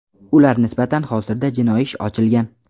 Ular nisbatan hozirda jinoiy ish ochilgan.